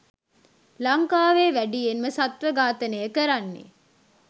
ලංකාවේ වැඩියෙන්ම සත්ව ඝාතනය කරන්නේ.